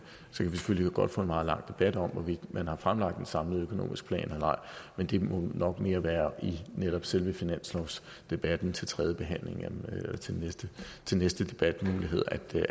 selvfølgelig godt få en meget lang debat om hvorvidt man har fremlagt en samlet økonomisk plan eller ej men det må nok mere være i netop selve finanslovsdebatten til tredjebehandlingen til næste debatmulighed